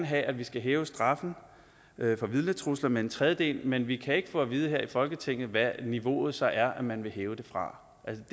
have at vi skal hæve straffen for vidnetrusler med en tredjedel men vi kan ikke få at vide her i folketinget hvad niveauet så er man vil hæve det fra